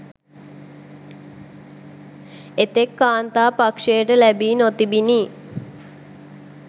එතෙක් කාන්තා පක්‍ෂයට ලැබී නොතිබිණි.